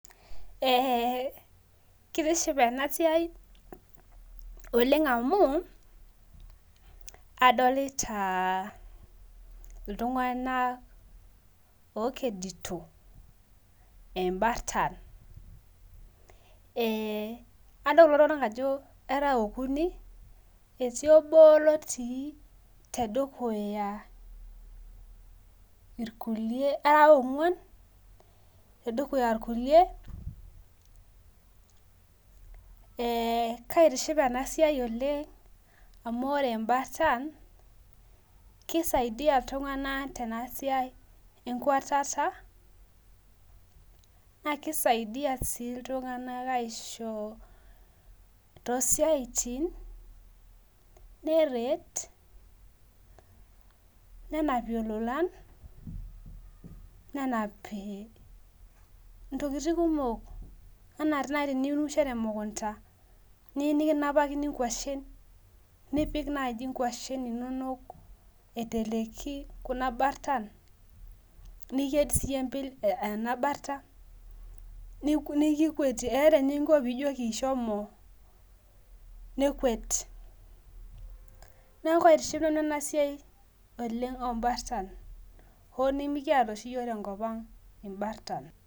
Ee kitiship enasiai oleng amu adolta ltunganak okedito embartan e adol kulo tunganak ajobera okuni etii obo otii tedukuya irkulie era onguan tedukuya irkulie ee kaitiship enasiai oleng amu imbartan kisaidia ltunganak oleng tenasiai enkwatata na kisaidia si ltunganak aisho tosiatin neret nenapie lolan nenapie ntokitin kumok ana nai teniunisho temukunda nikiyie nikinapakini ngwashen nipik nai nkwashen inonok aiteleki kuna nartan niked sinyeyie ena barta nikikwetie eeta eninko pijoki nekwet neaku kaitiship anu enasiai olemg ombartan oo nimikiata oshi yiok tenkop aang imbartan.